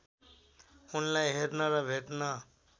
उनलाई हेर्न र भेट्न